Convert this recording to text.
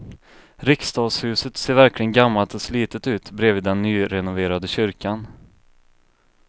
Riksdagshuset ser verkligen gammalt och slitet ut bredvid den nyrenoverade kyrkan.